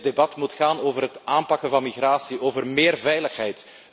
Dit debat moet gaan over het aanpakken van migratie, over meer veiligheid.